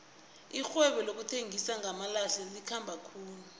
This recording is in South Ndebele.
irhwebo lokuthengisa ngamalahle likhamba khulu